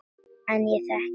En ég þekki þig.